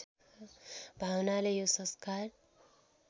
भावनाले यो संस्कार